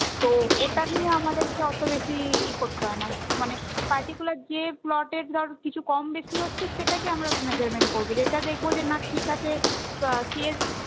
তো ওটা নিয়ে আমাদেরকে অত বেশি ই করতে হয় না মানে particular যে plot এ ধর কিছু কম বেশি হচ্ছে সেটাকে আমরা measurement করবো যেটা দেখবো যে না ঠিক আছে